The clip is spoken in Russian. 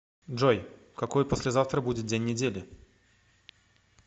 джой какой послезавтра будет день недели